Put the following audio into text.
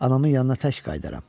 Anamın yanına tək qayıdaram.